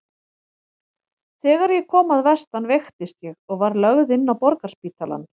Þegar ég kom að vestan veiktist ég og var lögð inn á Borgarspítalann.